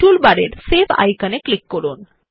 টুলবারের সেভ আইকনে ক্লিক করুন